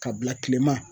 Ka bila kilema